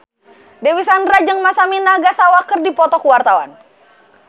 Dewi Sandra jeung Masami Nagasawa keur dipoto ku wartawan